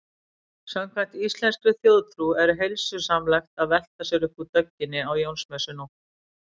Samkvæmt íslenskri þjóðtrú er heilsusamlegt að velta sér upp úr dögginni á Jónsmessunótt.